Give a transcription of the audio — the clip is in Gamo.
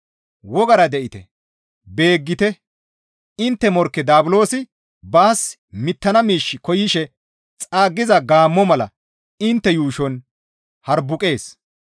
Wogara de7ite! Beeggite! Intte morkke Daabulosi baas mittana miish koyishe xaaggiza gaammo mala intte yuushon harbuqees.